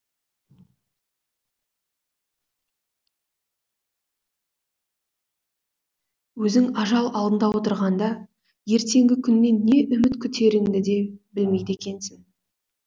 өзің ажал алдында отырғанда ертеңгі күннен не үміт күтеріңді де білмейді екенсің